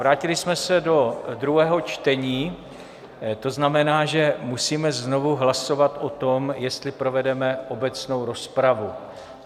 Vrátili jsme se do druhého čtení, to znamená, že musíme znovu hlasovat o tom, jestli povedeme obecnou rozpravu.